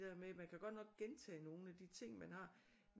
Der med man kan godt nok gentage nogle af de ting man har